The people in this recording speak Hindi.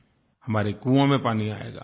हमारे कुओं में पानी आएगा